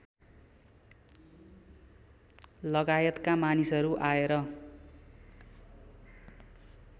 लगायतका मानिसहरू आएर